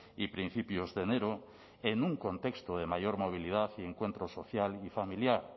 y principios de enero en un contexto de mayor movilidad y encuentro social y familiar